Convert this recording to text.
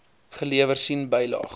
gelewer sien bylaag